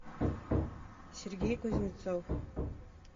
сергей кузнецов